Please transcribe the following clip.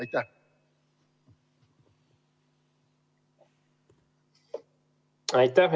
Aitäh!